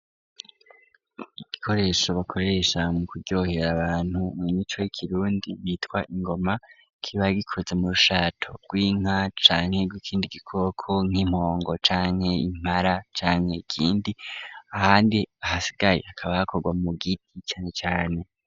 Igikoresho bakoresha mu kuryohera abantu mu mico y'ikirundi bitwa ingoma kiba gikoze mu rushato rw'inka canke nkikindi gikoko nk'impongo canke, impara ,canke ikindi ahandi hasigaye akaba akorwa mu giti cane cane.